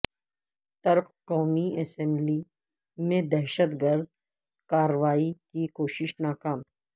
ترک قومی اسمبلی میں دہشت گرد کاروائی کی کوشش ناکام